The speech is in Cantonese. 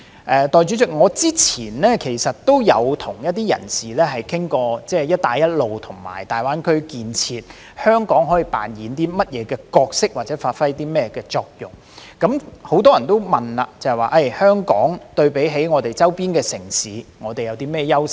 代理主席，我之前曾與一些人士討論，香港在"一帶一路"和大灣區建設中可以扮演甚麼角色或發揮甚麼作用。很多人會問，香港對比其周邊城市有何優勢？